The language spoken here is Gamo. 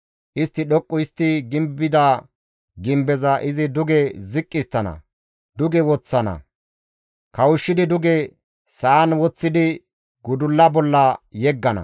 Istti dhoqqu histti gimbida gimbeza izi duge ziqqi histtana; duge woththana; kawushshidi duge sa7an woththidi gudulla bolla yeggana.